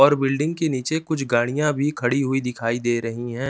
और बिल्डिंग के नीचे कुछ गाड़ियाँ भी खड़ी हुई दिखाई दे रही हैं।